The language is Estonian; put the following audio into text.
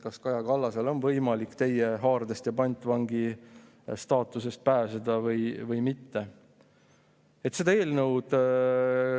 Kas Kaja Kallasel on võimalik teie haardest ja pantvangi staatusest pääseda või mitte?